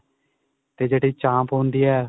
ਤੇ ਜਿਹੜੀ ਚਾਂਪ ਹੁੰਦੀ ਏ